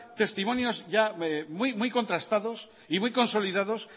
testimonios ya muy contrastados y muy consolidados